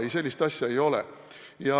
Ei, sellist asja ei ole.